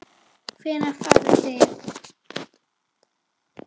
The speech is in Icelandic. Hvenær farið þið?